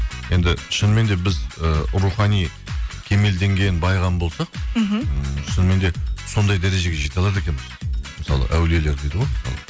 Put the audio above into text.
енді шынымен де біз і рухани кемелденген бай адам болсақ мхм ммм шынымен де сондай дәрежеге жете алады екенбіз мысалы әулиелер дейді ғой